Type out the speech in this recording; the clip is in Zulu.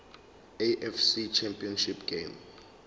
afc championship game